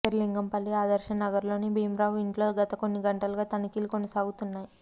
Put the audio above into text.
శేరిలింగంపల్లి ఆదర్శనగర్లోని భీంరావు ఇంట్లో గత కొన్ని గంటలుగా తనిఖీలు కొనసాగుతున్నాయి